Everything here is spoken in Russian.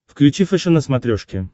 включи фэшен на смотрешке